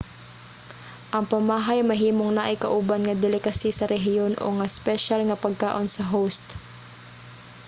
ang pamahay mahimong naay kauban nga delicacy sa rehiyon o nga espesyal nga pagkaon sa host